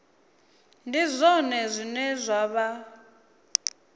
ndi zwone zwine zwa vha